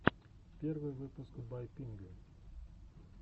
первый выпуск бай пингви